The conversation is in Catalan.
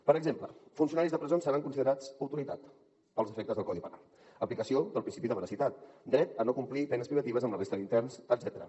per exemple funcionaris de presons seran considerats autoritat pels efectes del codi penal aplicació del principi de veracitat dret a no complir penes privatives amb la resta d’interns etcètera